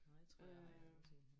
Nåh jeg tror jeg har en anden ting